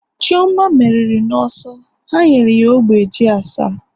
chioma meriri n'ọsọ, ha nyere ya ogbe ji asa